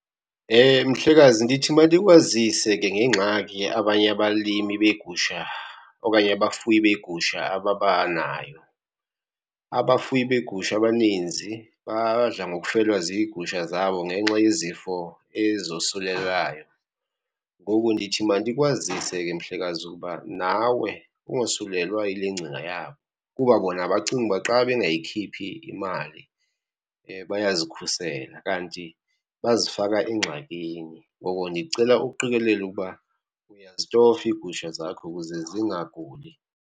Mhlekazi, ndithi mandikwazise ke ngengxaki abanye abalimi beegusha okanye abafuyi beegusha ababanayo. Abafuyi beegusha abaninzi badla ngokufelwa ziigusha zabo ngenxa yezifo ezosulelelayo. Ngoku ndithi mandikwazise ke mhlekazi ukuba nawe ungosulelwa yile ngcinga yabo, kuba bona bacinga uba xa bengayikhiphi imali bayazikhusela kanti bazifaka engxakini. Ngoko ndicela uqikelele ukuba uyazitofa iigusha zakho ukuze zingaguli.